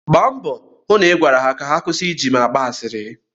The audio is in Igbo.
Gbaa mbọ hụ na ị gwara ha ka ha kwụsị ịji m agba asịrị.